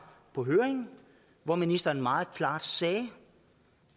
på høringen hvor ministeren meget klart sagde